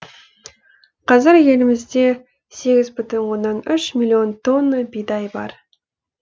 қазір елімізде сегіз бүтін оннан үш миллион тонна бидай бар